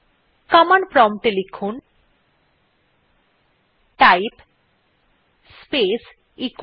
command prompt এ লিখুন type space echo